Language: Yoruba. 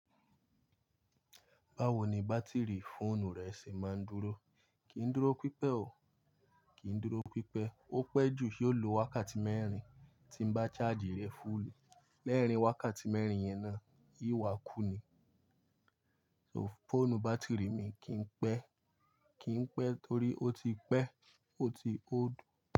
Báwo ni bátìrì fóònù rẹ ṣe máa ń dúró? Kì í dúró pípẹ́ o. Kì í dúró pípẹ́. Ó pẹ́ jù, yóò lo wákàtí mẹ́rin tí n bá chaaji rẹ̀ fúùlù. Lẹ́ẹ̀rín wákàtí mẹ́rin yẹn náà, yóò wà kú ni. So, fóònù bátìrì mi kì í pẹ́. Kì í pẹ́ torí ó ti pẹ́, ó ti old.